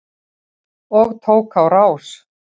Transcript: Og tók á rás.